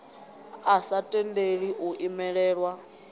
a sa tendeli u imelelwa